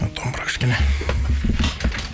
домбыра кішкене